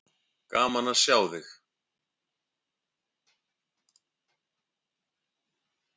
Gaman að sjá þig.